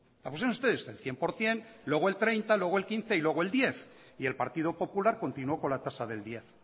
la pusieron ustedes el cien por ciento luego el treinta por ciento luego el quince por ciento y luego el diez por ciento y el partido popular continuó con la tasa del diez